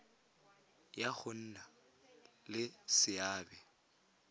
ya go nna le seabe